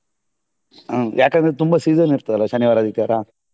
ಹ್ಮ್ ಯಾಕಂದ್ರೆ ತುಂಬಾ season ಇರ್ತದಲ್ಲಾ ಶನಿವಾರ ಆದಿತ್ಯವಾರ